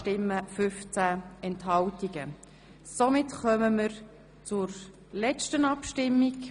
Somit kommen wir zur letzten Abstimmung.